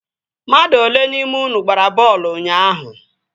Mmadụ olee n'ime unu gbara bọọlụ ụnyaahụ?